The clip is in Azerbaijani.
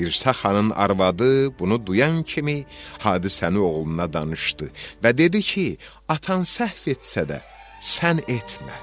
Dirsəxanın arvadı bunu duyan kimi hadisəni oğluna danışdı və dedi ki, atan səhv etsə də sən etmə.